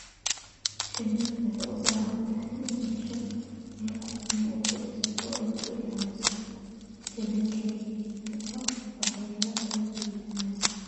Shinnidu waxay u baahan tahay inay hesho meel ku filan oo ay ku dhisato oo ay ku ilaaliso finankeeda iyada oo aan waxyeello loo geysan.